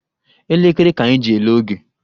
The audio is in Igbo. Elekere ka anyị ji ele oge